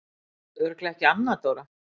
Örugglega ekki Anna Dóra?